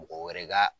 Mɔgɔ wɛrɛ ka